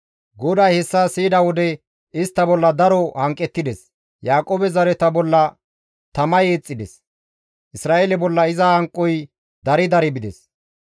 GODAY hessa siyida wode istta bolla daro hanqettides; Yaaqoobe zareta bolla tamay eexxides; Isra7eele bolla iza hanqoy dari dari bides.